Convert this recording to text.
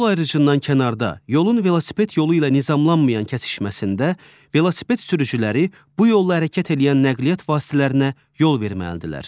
Yol ayrıcıdan kənarda, yolun velosiped yolu ilə nizamlanmayan kəsişməsində, velosiped sürücüləri bu yolla hərəkət eləyən nəqliyyat vasitələrinə yol verməlidirlər.